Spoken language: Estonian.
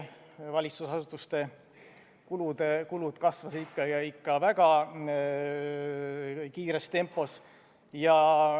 Valitsusasutuste kulud kasvasid ikka väga kiires tempos.